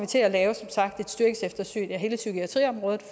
til at lave et serviceeftersyn af hele psykiatriområdet